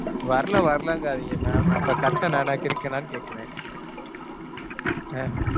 வரல, வரலங்காதீங்க ma'am. அப்பக் கட்டுன நான் என்ன கிறுக்கனான்னு கேட்கறேன். அஹ்